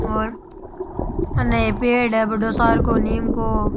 और अने पेड़ है बड़ो सारको नीम को।